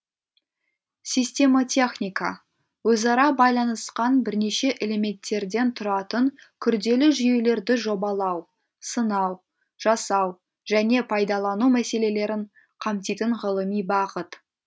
системотехника өзара байланысқан бірнеше элементтерден тұратын күрделі жүйелерді жобалау сынау жасау және пайдалану мәселелерін қамтитын ғылыми бағыт